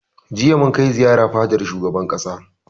Jiya mun kai ziyara fadar shugaban ƙasa